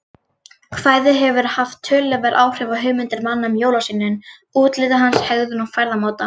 Kvæðið hefur haft töluverð áhrif á hugmyndir manna um jólasveininn, útlit hans, hegðun og ferðamáta.